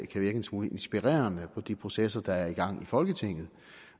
kan virke en smule inspirerende på de processer der er i gang i folketinget